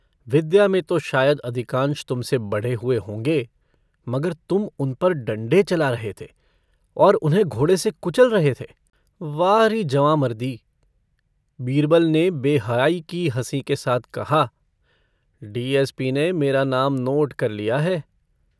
विद्या में तो शायद अधिकांश तुमसे बढ़े हुए होंगे मगर तुम उन पर डण्डे चला रहे थे और उन्हें घोड़े से कुचल रहे थे वाह री जवाँमर्दी! बीरबल ने बेहयाई की हँसी के साथ कहा - डीएसपी ने मेरा नाम नोट कर लिया है।